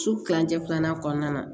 Su kilancɛ filanan kɔnɔna na